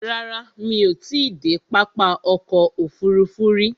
Rárá, mí ò ti i dé pápá ọkò òfurufú rí.